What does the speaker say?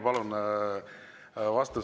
Palun!